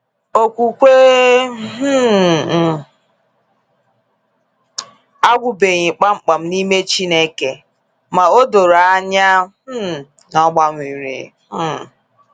Okwukwe um m agwụgbeghi kpamkpam n’ime Chineke, ma o doro anya um na ọ gbanwere. um